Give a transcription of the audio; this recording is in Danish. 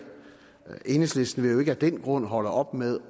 enhedslisten vil jo ikke af den grund holde op med